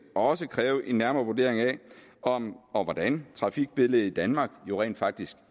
også kræve en nærmere vurdering af om og hvordan trafikbilledet i danmark rent faktisk